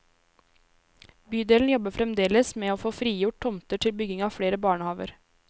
Bydelen jobber fremdeles med å få frigjort tomter til bygging av flere barnehaver.